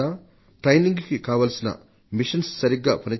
శిక్షణకు కావలసిన పరికరాలు సరిగ్గా పనిచేస్తున్నాయా